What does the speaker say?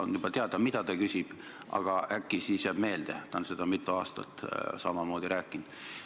On juba teada, mida ta küsib, aga äkki siis jääb meelde – ta on seda mitu aastat rääkinud.